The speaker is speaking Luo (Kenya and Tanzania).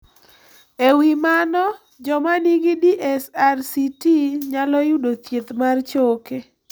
E wi mano, joma nigi DSRCT nyalo yudo thieth mar choke